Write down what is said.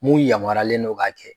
Mun yamaruyalen n'o k'a kɛ